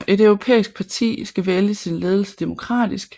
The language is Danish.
Et europæisk parti skal vælge sin ledelse demokratisk